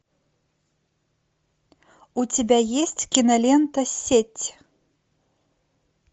у тебя есть кинолента сеть